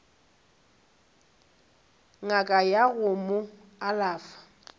ngaka ya go mo alafa